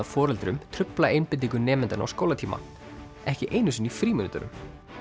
foreldrum trufla einbeitingu nemendanna á skólatíma ekki einu sinni í frímínútunum